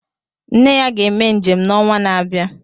Nne ya ga-eme njem n'onwa na-abịa.